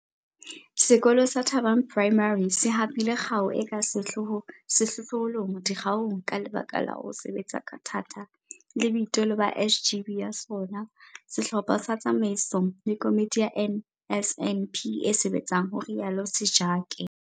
Sekolo sa Thabang Primary se hapile kgao e ka sehlohlolong dikgaong ka lebaka la ho sebetsa ka thata le boitelo ba SGB ya sona, sehlopha sa tsamaiso le komiti ya NSNP e sebetsang, ho rialo Sejake.